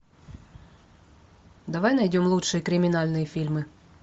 давай найдем лучшие криминальные фильмы